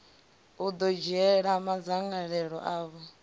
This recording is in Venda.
u ḓo dzhiela madzangalelo avho